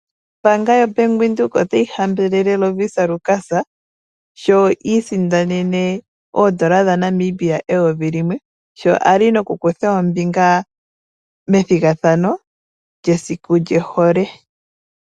Ombaanga yo Bank Windhoek otayi hambelele Lovisa Lukas, sho a isindanene oondola dha Namibia eyovi limwe. Sho a kutha ombinga methigathano lyesiku lyohole.